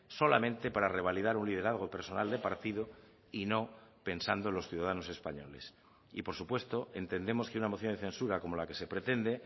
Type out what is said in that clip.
solamente para revalidar un liderazgo personal de partido y no pensando en los ciudadanos españoles y por supuesto entendemos que una moción de censura como la que se pretende